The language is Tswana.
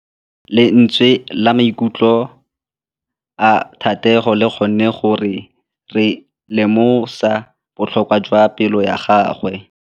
Lentswe la maikutlo a Thategô le kgonne gore re lemosa botlhoko jwa pelô ya gagwe.